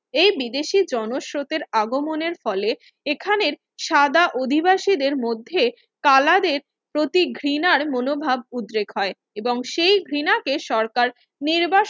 এই বিদেশি জনস্রোতের আগমনের ফলে এখানের সাদা অধিবাসীদের মধ্য়ে কালারের প্রতি ঘৃণার মনোভাব উদ্রেগ হয় এবং সেই ঘৃণা কে সরকার নির্বা